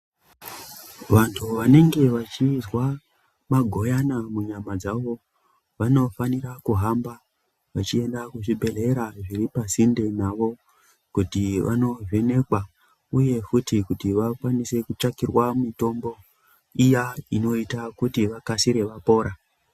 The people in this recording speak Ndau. Vantu vanenge vachizwa magoyana munyama dzavo vanofanira kuhamba vechienda kuzvibhedhlera zviri pasinde navo kuti vanovhenekwa uye futi kuti vakwanise kutsvakirwa mitombo iya inoita kuti vakasire vapora.